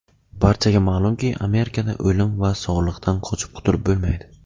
Barchaga ma’lumki, Amerikada o‘lim va soliqdan qochib qutulib bo‘lmaydi.